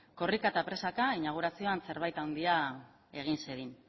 korrika eta presaka inaugurazioan zerbait handia egin zedin